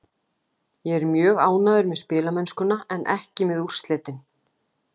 Ég er mjög ánægður með spilamennskuna en ekki með úrslitin.